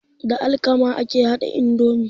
Da alkama ake haɗa indomi.